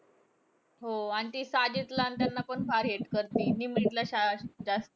हो आणि ती साजिदला आणि त्यांना पण फार hate करती. निमरीतला शाळा जास्त